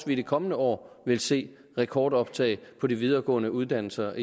vi i de kommende år vil se rekordoptag på de videregående uddannelser